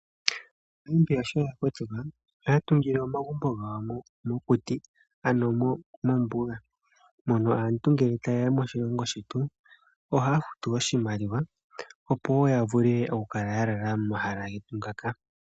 AaNamibia sho yakotoka ohaya tungile omagumbo gawo mokuti ano mombuga mono aantu ngele ta yeya moshilongo shetu ohaya futu oshimaliwa opo wo yavule okukala yalalamo momahala getu ngaka.